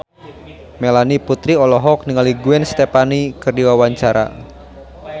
Melanie Putri olohok ningali Gwen Stefani keur diwawancara